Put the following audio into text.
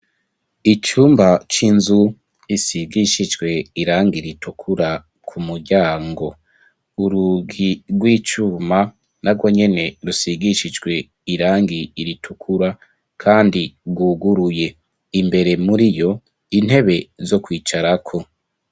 Icumba cinzu gisigishijwe irangi ritukura ku muryang ,urugi rw'icuma narwo nyene rusigishijwe irangi ritukura kandi rwuguruye ,imbere muri yo intebe zo kwicara ko.